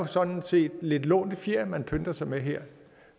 sådan set lidt lånte fjer man pynter sig med her